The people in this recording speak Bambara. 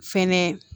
Fɛnɛ